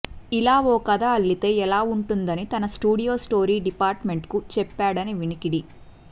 ఇలా ఓ కథ అల్లితే ఎలా వుంటుందని తన స్టూడియో స్టోరీ డిపార్ట్ మెంట్ కు చెప్పాడని వినికిడి